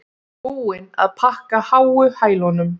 Búin að pakka háu hælunum